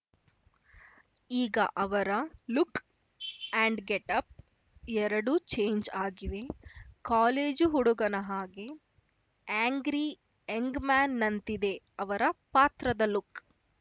ಈಗ ಅವರ look and getup ಎರಡೂ ಚೇಂಜ್‌ ಆಗಿವೆ ಕಾಲೇಜು ಹುಡುಗನ ಹಾಗೆ ಆ್ಯಂಗ್ರಿ ಯಂಗ್‌ ಮ್ಯಾನ್‌ನಂತಿದೆ ಅವರ ಪಾತ್ರದ ಲುಕ್‌